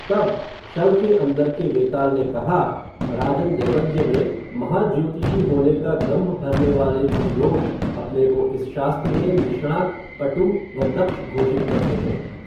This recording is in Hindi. तब, शव के अंदर के वेताल ने कहा, राजन दैवज्ञ में, महा ज्योतिषी होने का दंभ भरनेवाले, कुछ लोग, अपने को इस शास्त्र में, निष्णात पटु, व दक्ष घोषित करते हैं